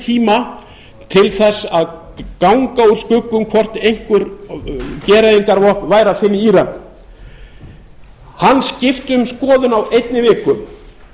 tíma til þess að ganga úr skugga um hvort einhver gereyðingarvopn væri að finna í írak hann skipti um skoðun á einni viku